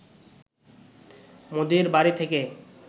মোদির বাড়ি থেকে